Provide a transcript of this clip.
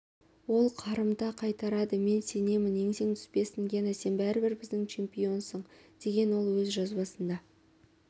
ол қарымта қайтарады мен сенемін еңсең түспесін гена сен бәрібір біздің чемпионсың деген ол өз жазбасында